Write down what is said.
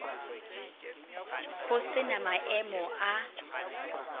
ho se na maemo a